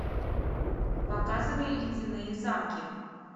показывай ледяные замки